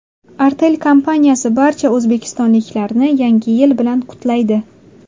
Artel kompaniyasi barcha o‘zbekistonliklarni Yangi yil bilan qutlaydi.